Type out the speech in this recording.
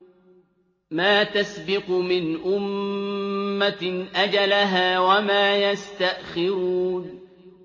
مَّا تَسْبِقُ مِنْ أُمَّةٍ أَجَلَهَا وَمَا يَسْتَأْخِرُونَ